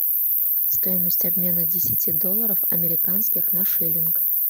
стоимость обмена десяти долларов американских на шиллинг